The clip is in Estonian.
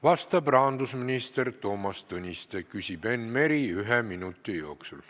Vastab rahandusminister Toomas Tõniste, küsib Enn Meri ühe minuti jooksul.